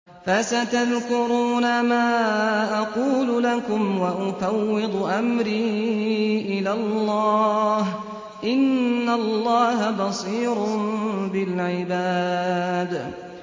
فَسَتَذْكُرُونَ مَا أَقُولُ لَكُمْ ۚ وَأُفَوِّضُ أَمْرِي إِلَى اللَّهِ ۚ إِنَّ اللَّهَ بَصِيرٌ بِالْعِبَادِ